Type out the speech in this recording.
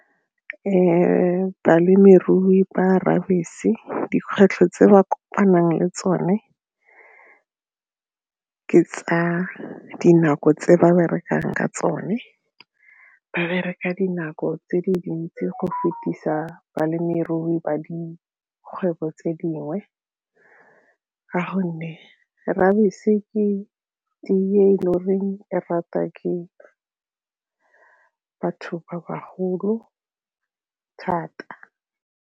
balemirui ba dikgwetlho tse ba kopanang le tsone ka dinako tse ba berekang ka tsone, ba bereka dinako tse dintsi go fetisa balemirui ba dikgwebo tse dingwe ka gonne ke e le goreng e ratwa ke batho ba bagolo thata